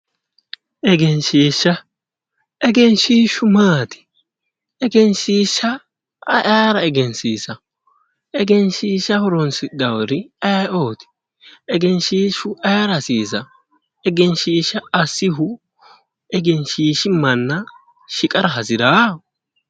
egenshiishsha egenshiishshu maati? eegnshiishsha ayi ayera egensiisanno egenshiishsha horonsidhannori ayeeooti? egenshiishshu ayeera hasiisa egenshiishsha assihu egensiisi manna shiqara hasiraa?